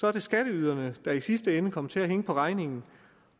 er det skatteyderne der i sidste ende kommer til at hænge på regningen